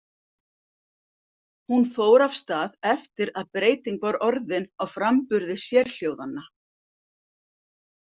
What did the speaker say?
Hún fór af stað eftir að breyting var orðin á framburði sérhljóðanna.